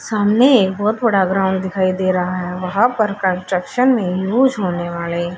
सामने एक बहोत बड़ा ग्राउंड दिखाई दे रहा है वहां पर कंस्ट्रक्शन में यूज होने वाले--